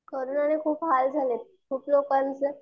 कोरोनाने खूप हाल झालेत खूप लोकांचे